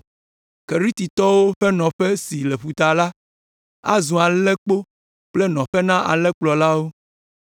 Keretitɔwo ƒe nɔƒe si le ƒuta la, azu alẽkpo kple nɔƒe na alẽkplɔlawo.